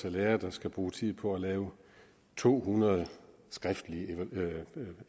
er lærere der skal bruge tid på at lave to hundrede skriftlige